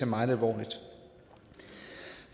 meget alvorligt